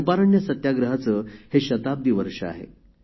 चंपारण्य सत्याग्रहाचे हे शताब्दी वर्ष आहे